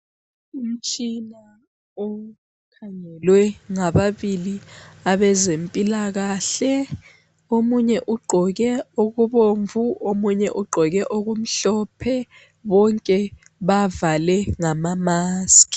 Umtshina okhangelwe ngababili abezempilakahle omunye ugqoke okubomvu omunye ugqoke okumhlophe bonke bavale ngama maskhi.